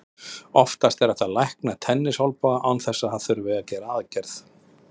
Oftast er hægt að lækna tennisolnboga án þess að það þurfi að gera aðgerð.